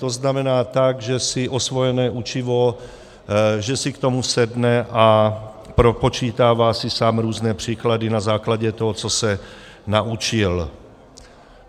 To znamená tak, že si osvojené učivo - že si k tomu sedne a propočítává si sám různé příklady na základě toho, co se naučil.